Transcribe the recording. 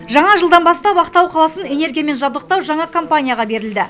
жаңа жылдан бастап ақтау қаласын энергиямен жабдықтау жаңа компанияға берілді